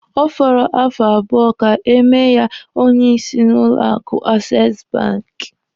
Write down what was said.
Ọ fọrọ afọ abụọ ka e mee ya onye isi n'ụlọ akụ Ases banki.